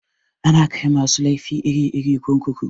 Ana kai masu laifi iri-iri kurkuku.